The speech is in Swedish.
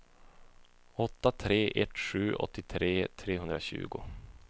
åtta tre ett sju åttiotre trehundratjugo